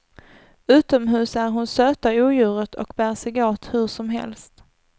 Utomhus är hon söta odjuret och bär sig åt hur som helst.